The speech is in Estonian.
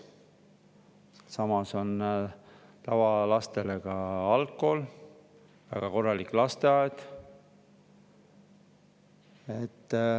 Sealsamas on tavalastele ka algkool ja väga korralik lasteaed.